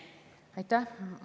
Aitäh!